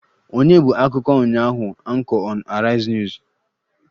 Ònye bụ akụkọ ụnyaahụ Anchor on Arise news?